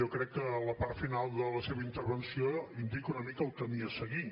jo crec que la part final de la seva intervenció indica una mica el camí a seguir